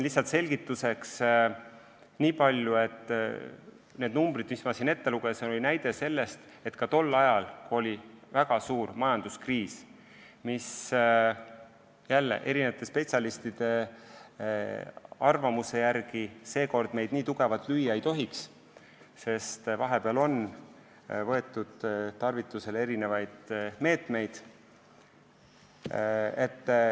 Lihtsalt selgituseks nii palju, et need numbrid, mis ma siin ette lugesin, oli näide sellest, et ehkki tol ajal oli väga suur majanduskriis, uus kriis meid spetsialistide arvamuse järgi nii tugevalt lüüa ei tohiks, sest vahepeal on meetmeid tarvitusele võetud.